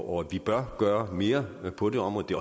og at vi bør gøre mere på det område det